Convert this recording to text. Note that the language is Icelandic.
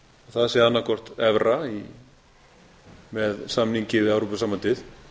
það sé annað hvort evra með samningi við evrópusambandið